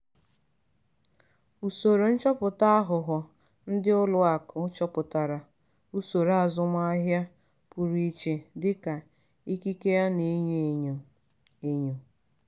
usoro nchọpụta aghụghọ ndị ụlọ akụ chọpụtara usoro azụmaahịa pụrụ iche dịka ikike a na-enyo enyo. enyo.